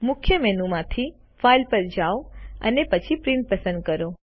મુખ્ય મેનુમાંથી ફાઇલ પર જાઓ અને પછી પ્રિન્ટ પસંદ કરો